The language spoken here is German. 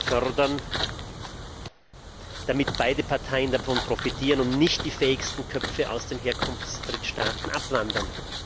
fördern, damit beide Parteien davon profitieren und nicht die fähigsten Köpfe aus den Herkunftsdrittstaaten abwandern.